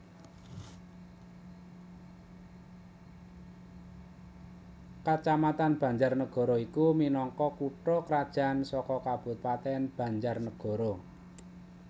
Kacamatan BanjarNagara iki minangka kutha krajan saka Kabupatèn BanjarNagara